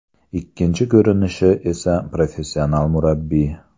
Ikkinchi ko‘rinishi esa professional murabbiy.